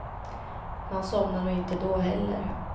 Man somnar nog inte då heller.